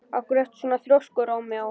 Af hverju ertu svona þrjóskur, Rómeó?